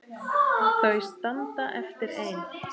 Þau standa eftir ein.